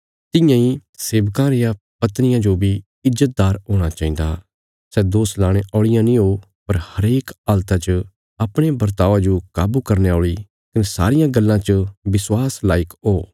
तियां इ सेवकां रियां पत्नियां जो बी ईज्जतदार हूणा चाहिन्दा सै दोष लाणे औल़ियां नीं हो पर हरेक हालता च अपणे बर्तावा जो काबू करने औल़ी कने सारियां गल्लां च विश्वासा लायक हो